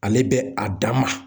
Ale bɛ a da ma.